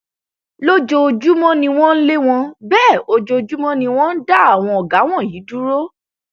lójoojúmọ ni wọn ń lé wọn bẹẹ ojoojúmọ ni wọn ń dá àwọn ọgá wọnyí dúró